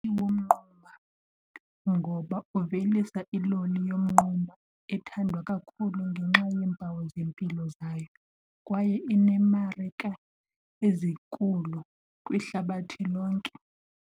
Womnquma ngoba uvelisa iloli yomnquma ethandwa kakhulu ngenxa yeempawu zempilo zayo kwaye ineemarika ezinkulu kwihlabathi lonke.